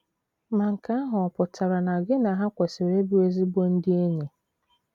Ma nke ahụ ọ̀ pụtara na gị na ha kwesịrị ịbụ ezigbo ndị enyi?